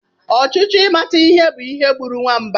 Ọchịchọ ịmata ihe bu ihe gburu nwamba.